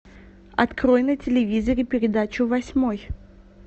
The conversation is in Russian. открой на телевизоре передачу восьмой